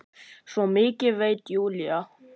Svo mikið veit Júlía.